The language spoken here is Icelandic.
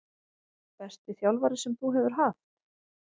Besti þjálfari sem þú hefur haft?